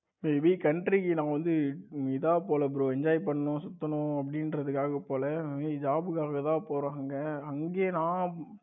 bro country க்கு நா வந்து இத போல bro enjoy பண்ணனும் சுத்தணும் அப்படின்றதுக்காக போல bro job புக்காக தான் போறாங்க அங்கயே நா